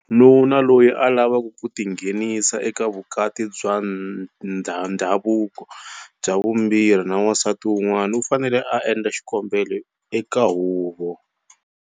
Nuna loyi a lavaka ku tinghenisa eka vukati bya ndhavuko bya vumbirhi na wansati wun'wana u fanele a endla xikombelo eka huvo.